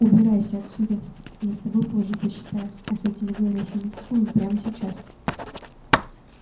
убирайся отсюда я с тобой позже посчитаюсь а с этими говорящими куклами прямо сейчас